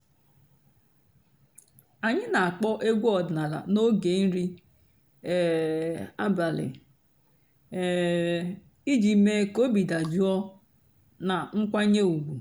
ányị́ nà-àkpọ́ ègwú ọ̀dị́náàlà n'óge nrí um àbàlí um ìjì méé kà óbí dàjụ́ọ́ nà ǹkwànyé ùgwú.